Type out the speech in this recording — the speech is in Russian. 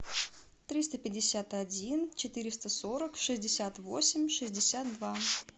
триста пятьдесят один четыреста сорок шестьдесят восемь шестьдесят два